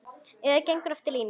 Eða gengur eftir línu.